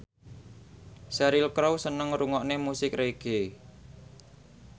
Cheryl Crow seneng ngrungokne musik reggae